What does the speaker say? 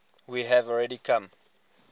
we have already come